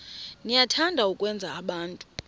niyathanda ukwenza abantu